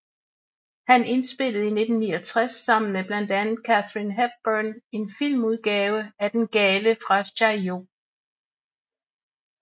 Han indspillede i 1969 sammen med blandt andet Katharine Hepburn en filmudgave af Den gale fra Chaillot